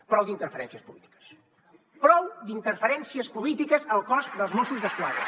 prou d’interferències polítiques prou d’interferències polítiques al cos dels mossos d’esquadra